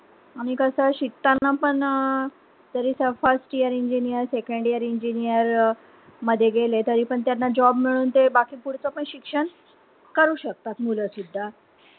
आणि कस शिकताना पण अं first year engineer second year engineer मध्ये गेले तरीपण त्यांना job मिळून ते फूडच पण शिक्षण करू शकतात मुलं सुद्धा